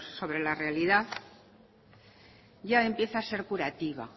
sobre la realidad ya empieza a ser curativa